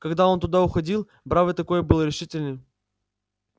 когда он туда уходил бравый такой был решительный